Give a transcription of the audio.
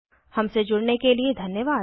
हमसे जुड़ने के लिए धन्यवाद